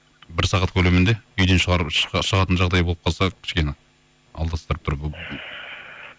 бір сағат көлемінде үйден шығатын жағдай болып қалса кішкене